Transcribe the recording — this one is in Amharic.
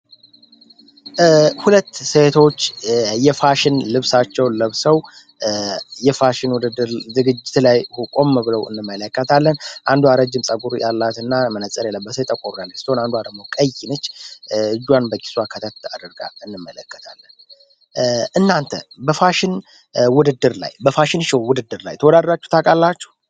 ሁለት ሴቶች የፋሽን ልብሳቸውን ለብሰው የፋሽን ውድድር ዝግጅት ላይ ቆም ብለው እንመለከታለን። አንዷ ረጅም ጸጉር ያላትና መነፅር የለበሰች ጠቆር ያለች ስትሆን፤ አንዷ ደሞ ቀይ ነች እጇን በኪሷ አርጋ እንመለከታለን። እናንተ በፋሽን ውድድር ላይ በፋሽን ሾው ውድድር ላይ ተወዳድረው ታውቃላችሁ?